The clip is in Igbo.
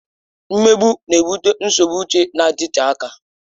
Mmegbu na-ebute nsogbu uche na-adịte aka.